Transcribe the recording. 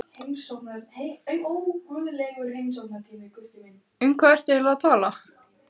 Um hvað ertu eigin lega að tala?